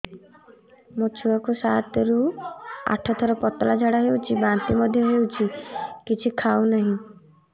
ମୋ ଛୁଆ କୁ ସାତ ରୁ ଆଠ ଥର ପତଳା ଝାଡା ହେଉଛି ବାନ୍ତି ମଧ୍ୟ୍ୟ ହେଉଛି କିଛି ଖାଉ ନାହିଁ